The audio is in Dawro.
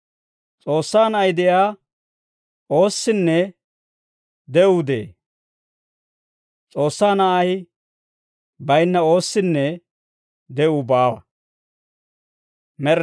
S'oossaa Na'ay de'iyaa oossinne de'uu de'ee; S'oossaa Na'ay baynna oossinne de'uu baawa.